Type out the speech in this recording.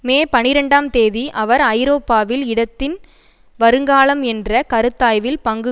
மே பனிரெண்டாம் தேதி அவர் ஐரோப்பாவில் இடதின் வருங்காலம் என்ற கருத்தாய்வில் பங்கு